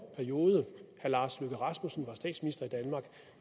periode herre lars løkke rasmussen